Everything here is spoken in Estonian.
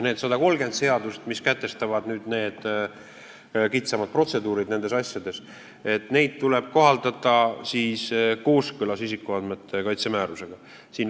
Neid 130 seadust, mis sätestavad need kitsamad protseduurid nendes asjades, tuleb kohaldada kooskõlas isikuandmete kaitse määrusega.